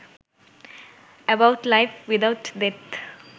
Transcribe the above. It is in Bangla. about life without death